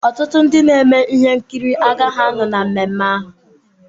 Ọtụtụ ndị na-eme ihe nkiri agaghị anọ na mmemme ahụ.